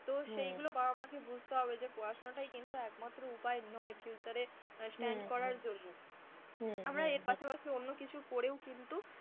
তো সেইগুলো বাবা মাকে বুঝতে হবে যে পড়াশোনাটায় কিন্তু একমাত্র উপায় নয় future যে stand করার জন্য আমরা এর পাশাপাশি অন্য কিছু করেও কিন্তু,